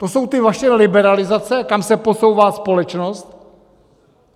To jsou ty vaše liberalizace, kam se posouvá společnost?